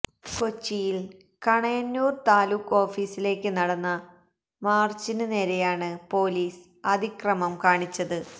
കൊച്ചിയില് കണയന്നൂര് താലൂക്ക് ഓഫീസിലേക്ക് നടന്ന മാര്ച്ചിന് നേരെയാണ് പോലീസ് അതിക്രമം കാണിച്ചത്